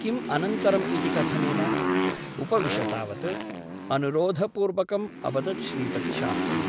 किम् अनन्तरम् इति कथनेन ? उपविश तावत् अनुरोधपूर्वकम् अवदत् श्रीपतिशास्त्री ।